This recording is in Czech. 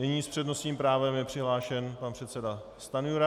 Nyní s přednostním právem je přihlášen pan předseda Stanjura.